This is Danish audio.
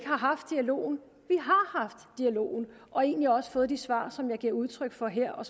har haft dialogen og egentlig også fået de svar som jeg giver udtryk for her og